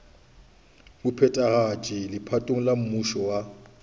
mophethagatši legatong la mmušo wa